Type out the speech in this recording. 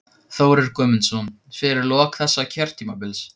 Þórir Guðmundsson: Fyrir lok þessa kjörtímabils?